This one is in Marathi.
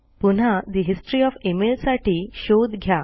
पुन्हा ठे हिस्टरी ओएफ e mailसाठी शोध घ्या